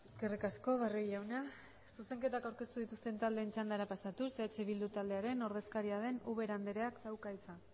eskerrik asko barrio jauna zuzenketak aurkeztu dituzten taldeen txandara pasatuz eh bildu taldearen ordezkaria den ubera andereak dauka hitza